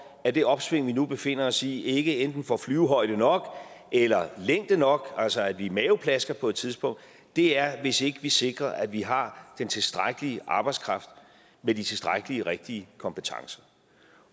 at det opsving vi nu befinder os i ikke enten får flyvehøjde nok eller længde nok altså at vi laver en maveplasker på et tidspunkt er hvis ikke vi sikrer at vi har den tilstrækkelige arbejdskraft med de tilstrækkelige og rigtige kompetencer